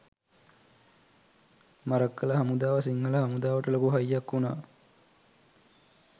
මරක්කල හමුදාව සිංහල හමුදාවට ලොකු හයියක් උනා